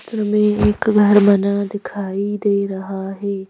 हमें एक घर बना दिखाई दे रहा है।